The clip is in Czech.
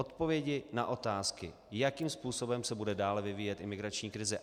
Odpovědi na otázky, jakým způsobem se bude dále vyvíjet imigrační krize.